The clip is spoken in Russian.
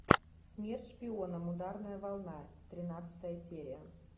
смерть шпионам ударная волна тринадцатая серия